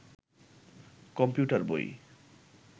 computer বই